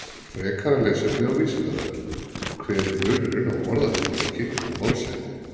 Frekara lesefni á Vísindavefnum: Hver er munurinn á orðatiltæki og málshætti?